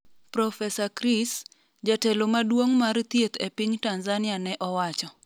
profesa Chris ,jatelo maduong' mar thieth e piny Tanzania ne owacho